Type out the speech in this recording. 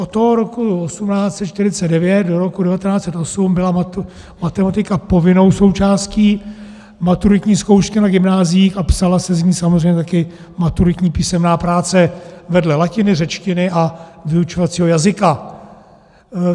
Od toho roku 1849 do roku 1908 byla matematika povinnou součástí maturitní zkoušky na gymnáziích a psala se z ní samozřejmě taky maturitní písemná práce vedle latiny, řečtiny a vyučovacího jazyka.